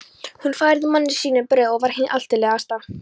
Hún færði manni sínum brauð og var hin altillegasta.